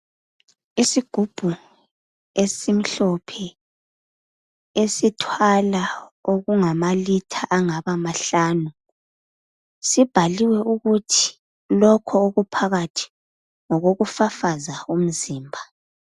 Isigubhu esimhlophe esithwala okungamalitha angaba mahlanu sibhaliwe ukuthi lokho okuphakathi ngokokufafaza umzimba .